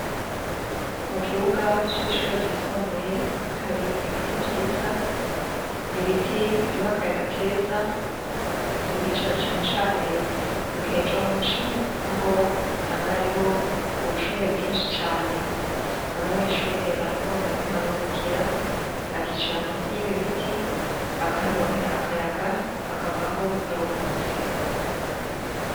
Mu kibuga c'ishure ryisumbuye, hari ibiti vyiza, ibiti biduha akayaga keza, tuhicara cane cane mu gihe co muci, aho usanga hari ubushuhe bwinshi cane, abanyeshure barakunda kuharuhukira, bakicara musi yibi biti, bakahoronkera akayaga, bakabaha baruhutse.